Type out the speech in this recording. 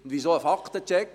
Weshalb einen Faktencheck?